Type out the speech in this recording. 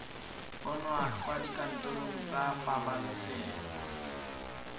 bonwa kwa dikantorong tsa pabalesego